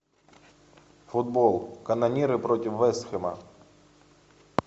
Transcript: футбол канониры против вест хэма